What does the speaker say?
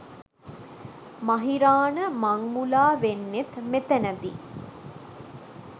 මහිරාණ මං මුලා වෙන්නෙත් මෙතැන දී